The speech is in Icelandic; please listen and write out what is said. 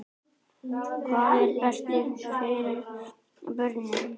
Hvað er best fyrir börnin?